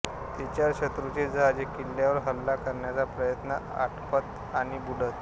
तिच्यावर शत्रूची जहाजे किल्ल्यावर हल्ला करण्याचा प्रयत्नात आपटत आणि बुडत